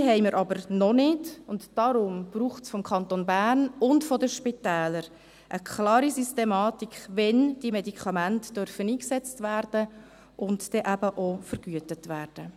Diese haben wir aber noch nicht, und deswegen braucht es vom Kanton Bern und von den Spitälern eine klare Systematik, wann diese Medikamente eingesetzt werden dürfen und dann eben auch vergütet werden.